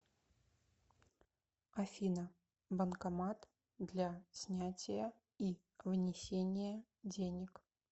афина банкомат для снятия и внесения денег